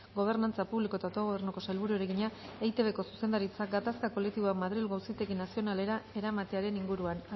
gobernantza publiko eta autogobernuko sailburuari egina eitbko zuzendaritzak gatazka kolektiboak madrilgo auzitegi nazionalera eramatearen inguruan